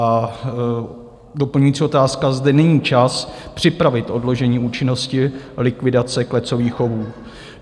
A doplňující otázka, zda není čas připravit odložení účinnosti likvidace klecových chovů.